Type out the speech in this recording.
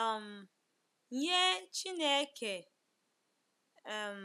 um nye Chineke. um